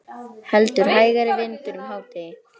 Heldur hægari vindur um hádegi